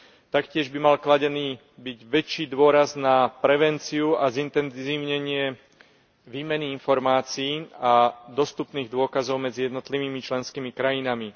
Taktiež by mal byť kladený väčší dôraz na prevenciu a zintenzívnenie výmeny informácií a dostupných dôkazov medzi jednotlivými členskými krajinami.